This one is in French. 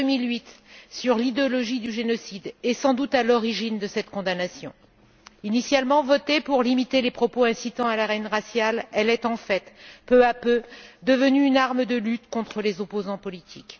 loi de 2008 sur l'idéologie du génocide est sans doute à l'origine de cette condamnation. Initialement votée pour limiter les propos incitant à la haine raciale, elle est en fait, peu à peu, devenue une arme de lutte contre les opposants politiques.